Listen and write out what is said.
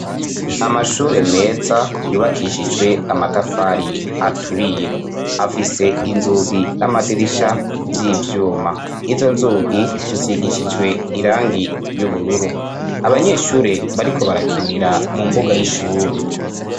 Amashure meza yubakishijwe amatafari aturiye afise inzugi n'amadirisha vy'ivyuma. Izo nzugi zisigishijwe irangi ry'ubururu, abanyeshure bariko barakinira mu mbuga y'ishure.